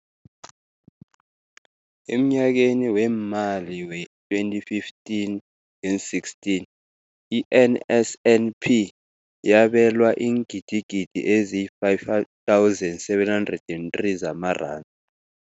Emnyakeni weemali we-2015 ngeen-16, i-NSNP yabelwa iingidigidi ezi-5 703 zamaranda.